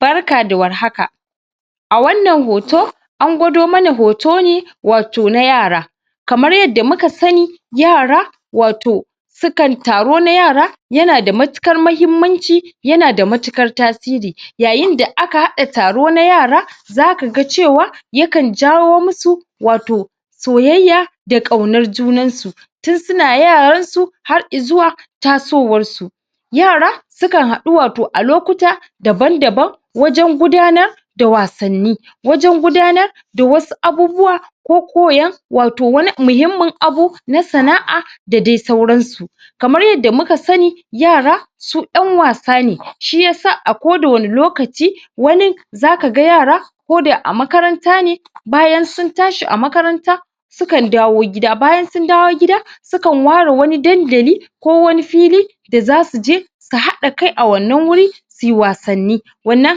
barka da warhaka a wannan hoto an gwado mana hoto ne wato na yara kamar yadda muka sani yara wato su kan taro na yara yana da matuƙar mahimmanci yana da matuƙar tasiri yayin da aka haɗa taro na yara zaka ga cewa ya kan jawo mu su wato soyayya da ƙaunar junan su tun suna yaran su har izuwa tasowar su yara sukan haɗu wato a lokuta daban-daban wajen gudanar da wasanni wajen gudanar da wasu abubuwa ko koyan wato wani mahimmin abu na sana'a da dai sauran su kamar yadda muka sani yara su ƴan wasa ne shiyasa a ko da wane lokaci wani zakaga yara ko da a makaranta ne bayan sun tashi a amakaranta su kan dawo gida, bayan sun dawo gida su kan ware wani dandali ko wani fili da zasu je su haɗa kai a wannan wuri suyi wasanni wannan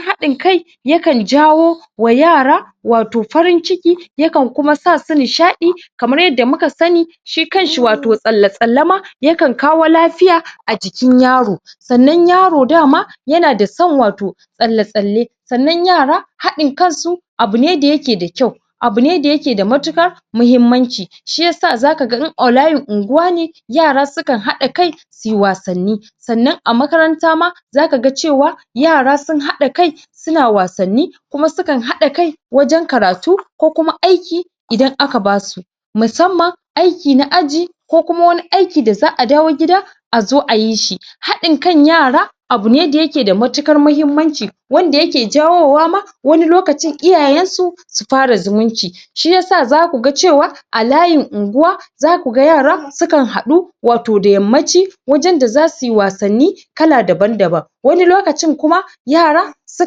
haɗin kai ya kan jawo wa yara wato farin ciki ya kan kuma sa su nishaɗi kamar yadda muka sani shi kan shi wato tsalle-tsalle ma ya kan kawo lafiya a jikin yaro sannan yaro dama yana da son wato tsalle-tsalle sannan yara haɗin kan su abu ne da yake da kyau abu ne da yake da matuƙa muhimmanci shi yasa zaka ga in a layin unguwa ne yara su kan haɗa kai suyi wasanni sannan a makaranta ma zaka ga cewa yara sun haɗa kai suna wasanni kuma su kan haɗa kai wajen karatu ko kuma aiki idan aka ba su musamman aiki na aji ko kuma wani aiki da za'a dawo gida a zo ayi shi haɗin kan yara abune da yake da matuƙar mahimmanci wanda yake jawowa ma wani lokacin iyayen su su fara zumunci shi yasa zaku ga cewa a layin unguwa zaku ga yara su kan haɗu wato da yammaci wajen da zasu yi wasanni kala daban-daban wani lokacin kuma yara su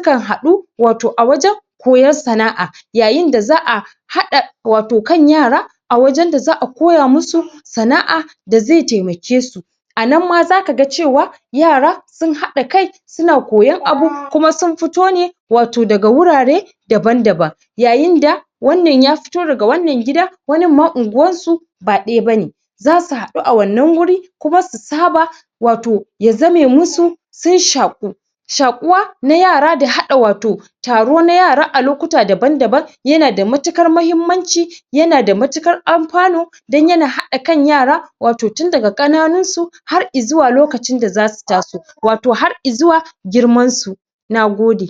kan haɗu wato a wajen koyon sana'a yayin da za'a haɗa wato kan yara a wajen da za'a koya mu su sana'a da ze temake su a nan ma zaka ga cewa yara sun haɗa kai suna koyon abu kuma sun fito ne wato daga wurare daban-daban yayin da wannan ya fito daga wannan gida wanin ma unguwar su ba ɗaya bane zasu haɗu a wannan wuri kuma su saba wato ya zame mu su sun shaƙu shaƙuwa na yara da haɗa wato taro na yara a lokuta daban-daban yana da matuƙar mahimmanci yana da matuƙar alfanu dan yana haɗa kan yara wato dun daga ƙananun su har izuwa lokacin da zasu taso wato har izuwa girmansu nagode